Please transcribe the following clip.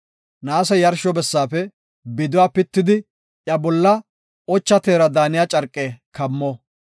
“Naase yarsho bessaafe biduwa pitidi iya bolla ocha teera daaniya carqe kammo.